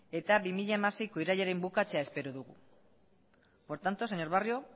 eta bi mila hamaseiko irailaren bukatzea espero dugu por tanto señor barrio